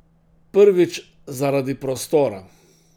Prvič, zaradi prostora.